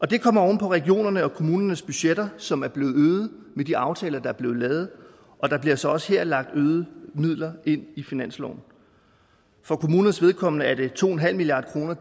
det kommer oven på regionernes og kommunernes budgetter som er blevet øget med de aftaler der er blevet lavet og der bliver så også her lagt øgede midler ind i finansloven for kommunernes vedkommende er de to en halv milliard kroner